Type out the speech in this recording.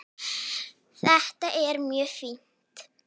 Þetta er mjög fínt.